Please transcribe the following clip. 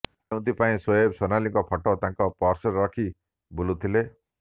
ଯେଉଁଥିପାଇଁ ସୋଏବ ସୋନାଲିଙ୍କ ଫଟୋ ତାଙ୍କ ପର୍ସରେ ରଖି ବୁଲୁଥିଲେ